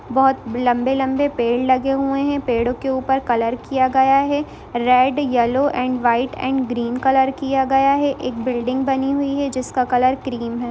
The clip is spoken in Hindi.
बोहत लम्बे-लम्बे पेड़ लगे हुए है पेड़ो के ऊपर कलर किया गया है red yellow and white and green colour किया गया है एक बिल्डिंग बनी हुई है जिसका कलर क्रीम है।